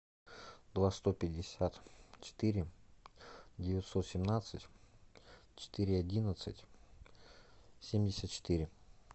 два сто пятьдесят четыре девятьсот семнадцать четыре одиннадцать семьдесят четыре